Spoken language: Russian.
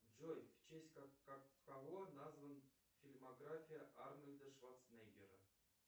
джой в честь кого назван фильмография арнольда шварценеггера